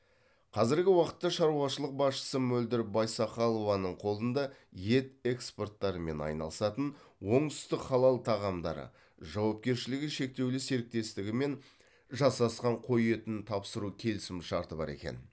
қазіргі уақытта шаруашылық басшысы мөлдір байсақалованың қолында ет экспорттарымен айналысатын оңтүстік халал тағамдары жауапкершілігі шектеулі серіктестігімен жасасқан қой етін тапсыру келісімшарты бар екен